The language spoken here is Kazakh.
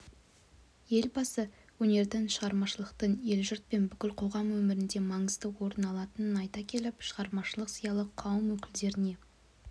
елбасы өнердің шығармашылықтың ел-жұрт пен бүкіл қоғам өміріндемаңызды орын алатынын айта келіп шығармашылық зиялы қауым өкілдеріне